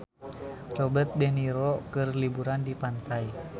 Robert de Niro keur liburan di pantai